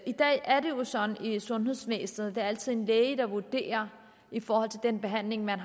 i dag er det jo sådan i sundhedsvæsenet at det altid er en læge der vurderer hvilken behandling man